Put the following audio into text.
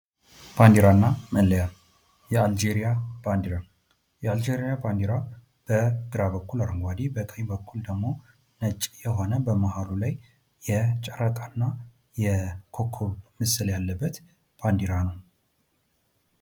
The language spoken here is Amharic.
ባንዲራና መለያ ፦የአልጄሪያ ባንዲራ፦ የአልጄሪያ ባንዲራ በግራ በኩል አረንጓደ በቀኝ በኩል ደግሞ ነጭ የሆነ በመሃሉ ላይ የጨረቃና የኮከብ ምስል ያለበት ባንዲራ ነው።